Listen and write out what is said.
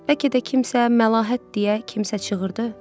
Bəlkə də kimsə Məlahət deyə kimsə çığırdı?